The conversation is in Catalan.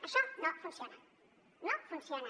això no funciona no funciona